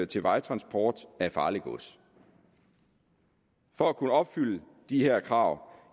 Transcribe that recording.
til vejtransport af farligt gods for at kunne opfylde de her krav